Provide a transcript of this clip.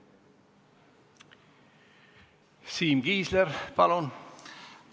Siim Kiisler, palun!